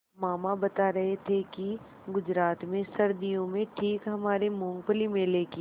मामा बता रहे थे कि गुजरात में सर्दियों में ठीक हमारे मूँगफली मेले की